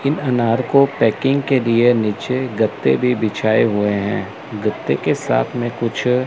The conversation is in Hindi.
इन अनार को पैकिंग के लिए नीचे गद्दे भी बिछाए हुए हैं गद्दे के साथ में कुछ--